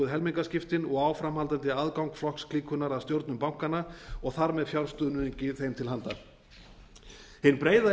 helmingaskiptin og áframhaldandi aðgang flokksklíkunnar að stjórnum bankanna og þar með fjárstuðningi þeim til handa hin breiða